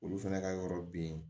Olu fɛnɛ ka yɔrɔ bin